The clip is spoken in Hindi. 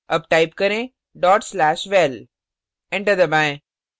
अब type करें/val dot slash val enter दबाएँ